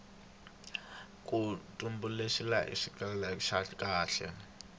ku tumbuluxiwile xitsalwambiko xa kahle